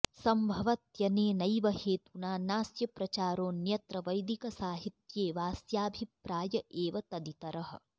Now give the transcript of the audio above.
सम्भवत्यनेनैव हेतुना नाऽस्य प्रचारोऽन्यत्र वैदिकसाहित्ये वाऽस्याभिप्राय एव तदितरः